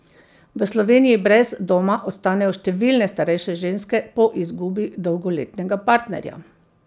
V Sloveniji brez doma ostanejo številne starejše ženske po izgubi dolgoletnega partnerja.